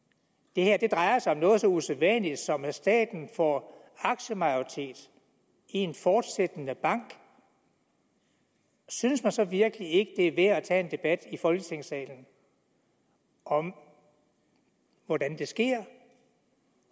det her drejer sig om noget så usædvanligt som at staten får aktiemajoritet i en fortsættende bank synes man så virkelig ikke at er værd at tage en debat i folketingssalen om hvordan det sker